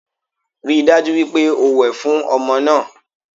Rí i dájú wípé o wẹ̀ fún ọmọ náà